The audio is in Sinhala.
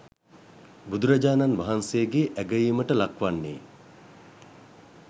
බුදුරජාණන් වහන්සේගේ අගැයීමට ලක්වන්නේ